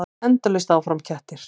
Endalaust áfram: kettir.